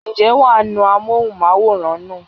ǹjẹ́ wà á nu amóhùnmáwòrán nù?